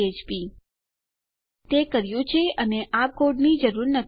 હવે આપણે તે કર્યું છે અને આપણને ખરેખર આ કોડની જરૂર નથી